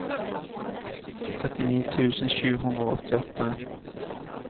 trettini tusen sju hundre og åttiåtte